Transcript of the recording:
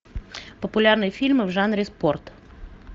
популярные фильмы в жанре спорт